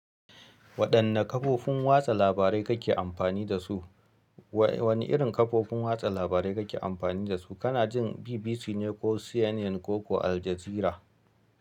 Waɗanne kafofin watsa labarai kake amfani da su? Wanne wani irin kafofin watsa labarai kake amfani da su? Kana jin BBC ne ko CNN ko, ko Aljazeera?